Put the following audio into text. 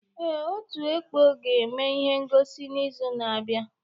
Ee, ọtú ekpọ ga-eme ihe ngọsi n'izu na-abịa.